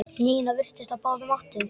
Nína virtist á báðum áttum.